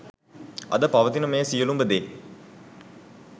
අද පවතින මේ සියලුම දේ